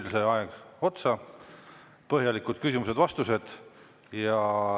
Teil sai aeg otsa, põhjalikud küsimused-vastused.